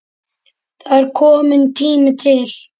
Það er kominn tími til.